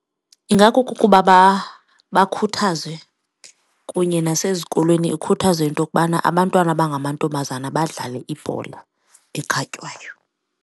Ingakukuba bakhuthazwe kunye nasezikolweni, ikhuthazwe into yokubana abantwana abangamantombazana badlale ibhola ekhatywayo.